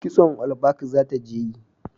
Kitson olbak za ta je yi